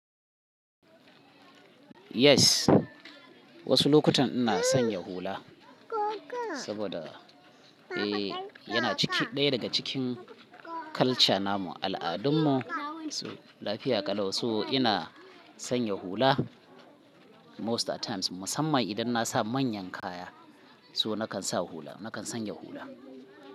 Yes, wasu lokutan ina sanya hula saboda, eh yana ciki, ɗaya daga cikin culture namu, al'adunmu. So lafiya ƙalau. So ina sanya hula most at times musamman idan na sa manyan kaya. So nakan sa hula, nakan sanya hula.